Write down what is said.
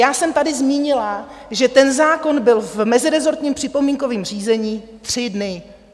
Já jsem tady zmínila, že ten zákon byl v mezirezortním připomínkovém řízení tři dny.